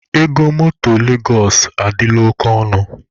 Ego motor Legos adịla oke ọnụ.